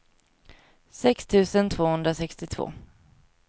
sex tusen tvåhundrasextiotvå